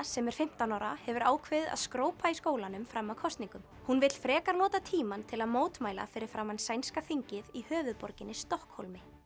sem er fimmtán ára hefur ákveðið að skrópa í skólanum fram að kosningum hún vill frekar nota tímann til að mótmæla fyrir framan sænska þingið í höfuðborginni Stokkhólmi